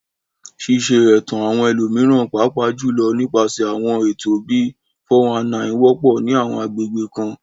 Ṣíṣe ẹ̀tàn àwọn ẹlòmíràn, pàápàá jùlọ nípasẹ̀ àwọn ètò bíi "419," wọ́pọ̀ ní àwọn agbègbè kan.